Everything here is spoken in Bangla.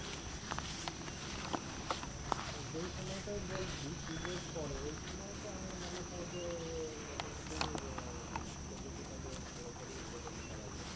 যেই সময়টাই বলছিস পুজোর পরে ওই সময়টা আমার মনে হয় যে হম মোটামুটি হম প্রকৃতিটাকে ভালো করেই উপভোগ করা যায়